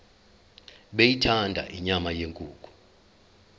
beyithanda inyama yenkukhu